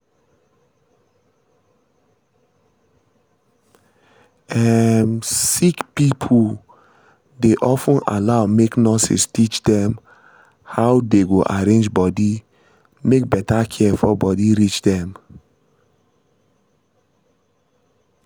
um sick pipo dey of ten allow make nurses teach dem how dey go arrange body make better care for body reach dem.